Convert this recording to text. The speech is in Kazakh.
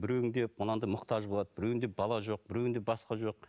біреуінде мынадай мұқтаж болады біреуінде бала жоқ біреуінде басқа жоқ